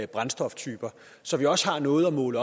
brændstoftyper så vi også har noget at måle